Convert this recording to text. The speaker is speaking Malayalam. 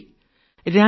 നന്ദി